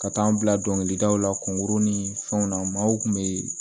Ka taa n bila dɔnkilida la kɔnkuru ni fɛnw na maaw kun bɛ